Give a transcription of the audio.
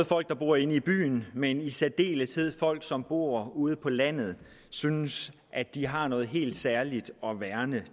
folk der bor inde i byen men i særdeleshed folk som bor ude på landet synes at de har noget helt særligt at værne